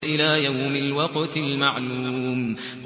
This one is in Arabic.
إِلَىٰ يَوْمِ الْوَقْتِ الْمَعْلُومِ